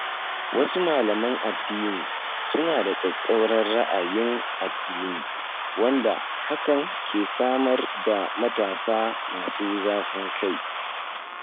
Wasu malaman addini suna da tsattsauran ra’ayin addini wanda hakan ke samar da matasa masu zafin kai